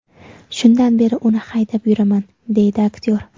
Shundan beri uni haydab yuraman”, deydi aktyor.